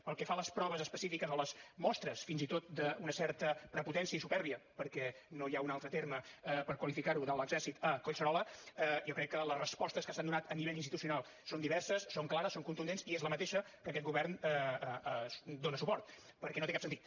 pel que fa a les proves específiques o les mostres fins i tot d’una certa prepotència i supèrbia perquè no hi ha un altre terme per qualificar ho de l’exèrcit a collserola jo crec que les respostes que s’han donat a nivell institucional són diverses són clares són contundents i és la mateixa a què aquest govern dóna suport perquè no té cap sentit